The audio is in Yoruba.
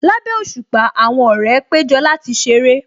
Lábẹ́ òṣùpá, àwọn ọ̀rẹ́ péjọ láti ṣeré